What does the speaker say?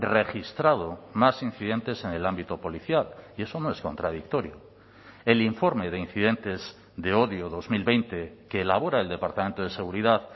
registrado más incidentes en el ámbito policial y eso no es contradictorio el informe de incidentes de odio dos mil veinte que elabora el departamento de seguridad